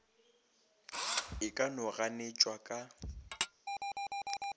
e ka no ganetšwa ka